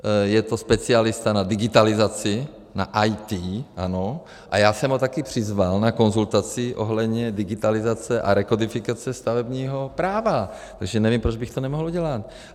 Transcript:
Je to specialista na digitalizaci, na IT, ano, a já jsem ho taky přizval na konzultaci ohledně digitalizace a rekodifikace stavebního práva, takže nevím, proč bych to nemohl udělat.